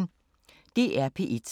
DR P1